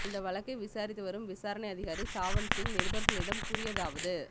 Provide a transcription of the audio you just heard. இந்த வழக்கை விசாரித்து வரும் விசாரணை அதிகாரி சவாந்த் சிங் நிருபர்களிடம் கூறியதாவது